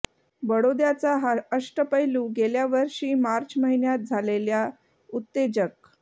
बडोद्याचा हा अष्टपैलू गेल्या वषी मार्च महिन्यात झालेल्या उत्तेजक